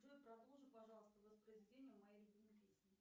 джой продолжи пожалуйста воспроизведение моей любимой песни